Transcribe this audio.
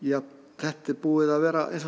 þetta er búið að vera eins og